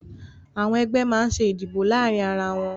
Àwọn ẹgbẹ́ máa ń ṣe ìdìbò láàárín ara wọn